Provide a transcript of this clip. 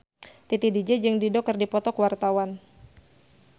Titi DJ jeung Dido keur dipoto ku wartawan